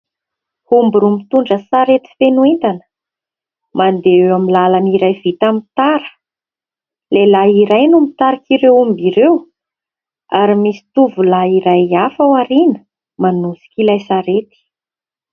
Omby roa mitondra sarety feno entana; mandeha eo amin'ny lalana iray vita amin'ny tara. Lehilay iray no mitarika ireo omba ireo ary misy tovolahy iray hafa aoriana manosika ilay sarety.